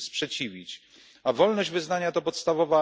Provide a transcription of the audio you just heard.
sprzeciwić, a wolność wyznania to podstawowa